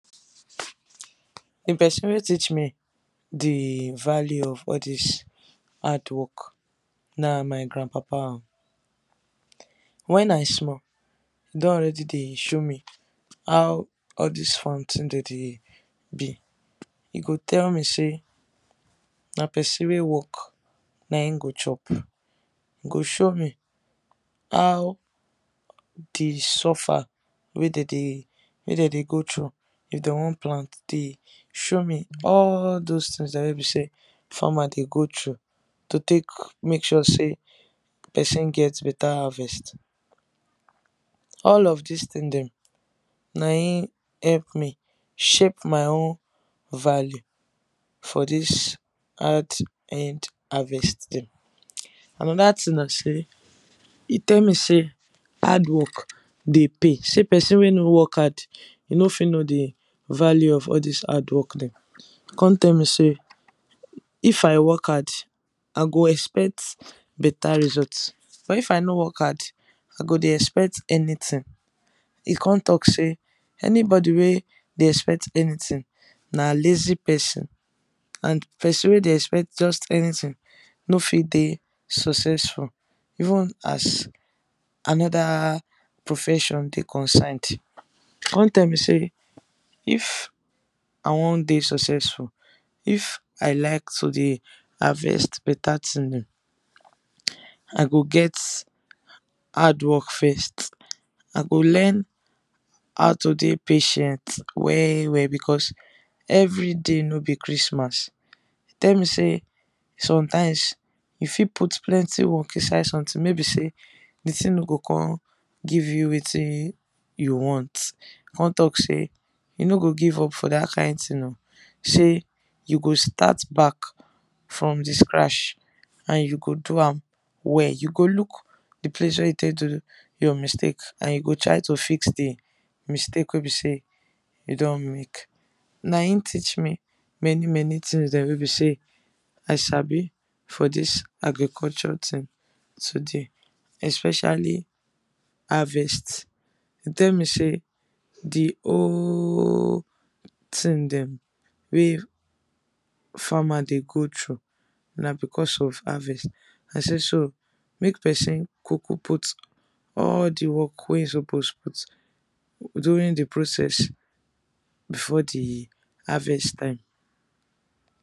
The person wey teach me the value of all dis hard work, na my granpapa o, when I small, e don already de show me how all this farm tin dey dey be e go tell me say, na person wey work na him go chop, e go show me how d suffer wey de dey wey de dey go through if de wan plant, de show me all those tins dem wey be say farmer de go through to take make sure say person get better harvest, all of this thing dem na him help me shape my own value for this hard earned harvest dem. And another thing na say e tell me say hard work de pay, say person wey no work hard e no fit know d value of all this hard work dem, e come tell me say if I work hard, i go expect better result but if I no work hard, I go de expect anything. e con talk say, anybody wey de expect anything na lazy person and person wey de expect just anything, no fit de successful. Even as another profession dey concerned. Con tell me say if I wan de successful, if I like to dey harvest better thing, I go get hard work first, I go learn how to dey patient well well because everyday no be christmas. e tell me say sometimes you fit put plenty work inside something may be say the thing no go come give you wetin you want, con talk say you no go give up for that kind thing o, say you go start back from the scratch and you go do am well, you go look d place wey you take do your mistake and you go try to fix d mistake wey be say you don make na him teach many many tins dem wey be say I sabi for this agriculture tin today especially harvest, e tell me say d whole tin dem wey farmer de go through na because of harvest and say so make person kuku put all d work wey he suppose put during d process before d harvest time.